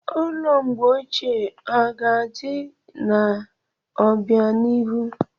Ụlọ mgbe ochie ọ ga-adị n'obianihu?